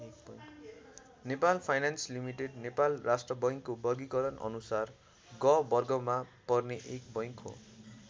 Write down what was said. Nepal finance limited Nepal राष्ट्र बैङ्कको वर्गिकरण अनुसार ग वर्गमा पर्ने एक बैङ्क हो।